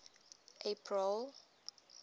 april